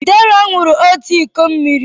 Deraa ṅụrụ òtù iko mmiri.